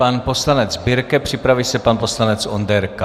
Pan poslanec Birke, připraví se pan poslanec Onderka.